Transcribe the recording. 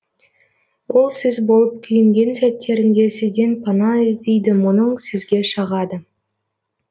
ол сіз болып күйінген сәттерінде сізден пана іздейді мұңын сізге шағады